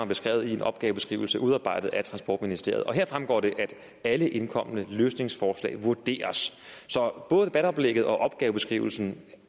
beskrevet i en opgavebeskrivelse udarbejdet af transportministeriet heraf fremgår det at alle indkomne løsningsforslag vurderes så både debatoplægget og opgavebeskrivelsen